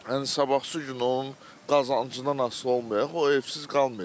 Yəni sabahsız gün onun qazancından asılı olmayaraq, o evsiz qalmayacaq.